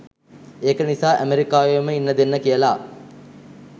ඒක නිසා ඇමරිකාවේම ඉන්න දෙන්න කියලා